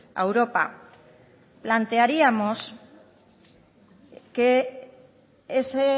a europa plantearíamos que ese